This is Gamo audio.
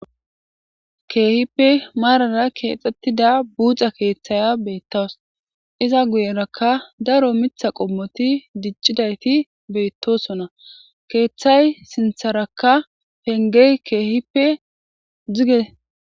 Kehippe marara kexetida buxa kethiya betawus iza guyeraka daro mitha qomoti dicidayti betosona kethay sintharaka pengey kehippe duge